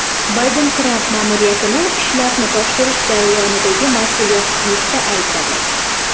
Bayden Tramp ma’muriyatini ishlarni topshirish jarayonidagi mas’uliyatsizlikda aybladi.